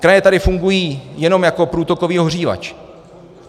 Kraje tady fungují jenom jako průtokový ohřívač.